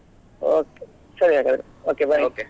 Okay ಸರಿ ಹಾಗಾದ್ರೆ okay bye .